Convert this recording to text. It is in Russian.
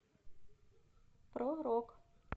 про рок